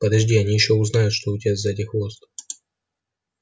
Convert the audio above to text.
подожди они ещё узнают что у тебя сзади хвост